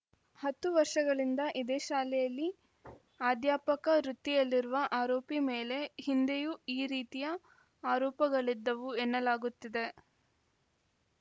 ಹತ್ತು ವರ್ಷಗಳಿಂದ ಇದೇ ಶಾಲೆಯಲ್ಲಿ ಅಧ್ಯಾಪಕ ವೃತ್ತಿಯಲ್ಲಿರುವ ಆರೋಪಿ ಮೇಲೆ ಹಿಂದೆಯೂ ಈ ರೀತಿಯ ಆರೋಪಗಳಿದ್ದವು ಎನ್ನಲಾಗುತ್ತಿದೆ